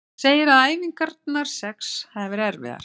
Hann segir að æfingarnar sex hafi verið erfiðar.